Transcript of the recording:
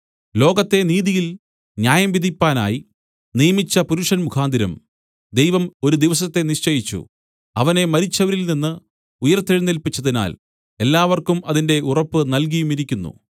ലോകത്തെ നീതിയിൽ ന്യായം വിധിപ്പാനായി നിയമിച്ച പുരുഷൻ മുഖാന്തരം ദൈവം ഒരു ദിവസത്തെ നിശ്ചയിച്ചു അവനെ മരിച്ചവരിൽനിന്ന് ഉയിർത്തെഴുന്നേല്പിച്ചതിനാൽ എല്ലാവർക്കും അതിന്റെ ഉറപ്പ് നല്കിയുമിരിക്കുന്നു